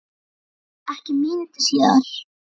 Ekki mínútu síðar